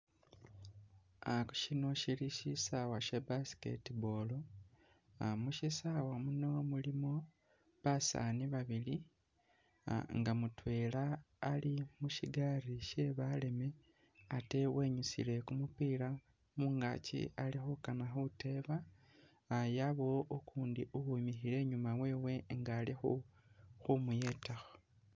Aha shino shili shisawa she busket ball mushisawa muno mulimo basani babili nga mutwela ali mushigaali she baleme atee wenyusile kumupila mungakyi alikhukana khuteba yabawo ukundi uwimikhile inyuma wewe inga ali khumuyetakho